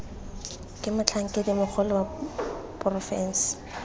ke motlhankedi mogolo wa porofense